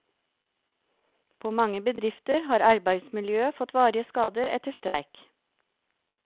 På mange bedrifter har arbeidsmiljøet fått varige skader etter streik.